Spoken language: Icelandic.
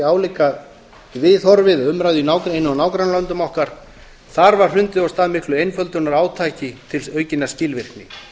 álíka viðhorfi við umræðu í einu af nágrannalöndum okkar þar var hrundið af stað miklu einföldunarátaki til aukinnar skilvirkni